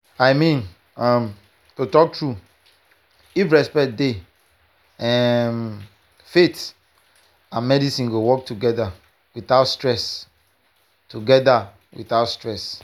i mean um to talk true if respect dey um faith and medicine go work well together without stress. together without stress.